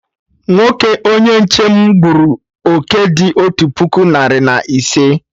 Nwoke onye nche m gburu oké dị otu puku narị na ise